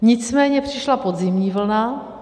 Nicméně přišla podzimní vlna.